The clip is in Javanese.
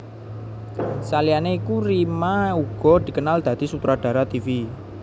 Saliyané iku Rima uga dikenal dadi sutradara tivi